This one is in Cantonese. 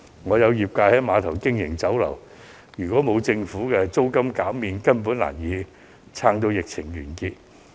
我有業界朋友在郵輪碼頭經營酒樓，如果政府沒有減租，他根本難以支撐至疫情完結。